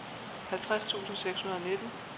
halvtreds tusind seks hundrede og nitten